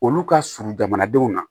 Olu ka surun jamanadenw na